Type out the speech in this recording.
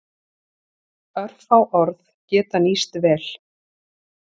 Örfá orð geta nýst vel.